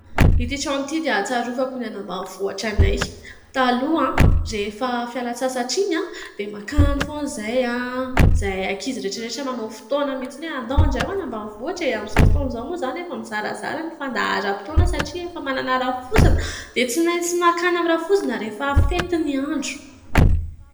Ity trano ity dia hatsiarovako ny any ambanivohitra anay. Taloha rehefa fialan-tsasatra iny dia makany foana izahay ; izahay ankizy rehetra rehetra manao fotoana mihitsy hoe andao amin'izay hoany ambanivohitra e, amin'izao fotoan'izao moa izany efa mizarazara ny fandaharam-potoana. Satria efa manana rafozana dia tsy maintsy makany amin'ny rafozana rehefa fety ny andro.